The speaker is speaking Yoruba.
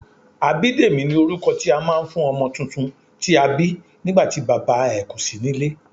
Abidemi ni orúkọ tí a máa ń fún ọmọ tuntun tí a bí nígbàtí Bàbá ẹ̀ kò sí nílé.